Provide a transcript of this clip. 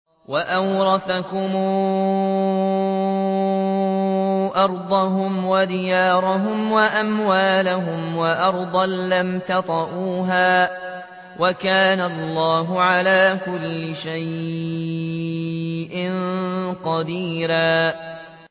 وَأَوْرَثَكُمْ أَرْضَهُمْ وَدِيَارَهُمْ وَأَمْوَالَهُمْ وَأَرْضًا لَّمْ تَطَئُوهَا ۚ وَكَانَ اللَّهُ عَلَىٰ كُلِّ شَيْءٍ قَدِيرًا